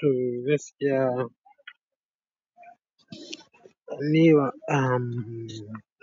To gaskiya, ni wa, um,